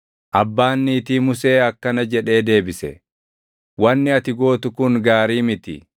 Abbaan niitii Musee akkana jedhee deebise; “Wanni ati gootu kun gaarii miti.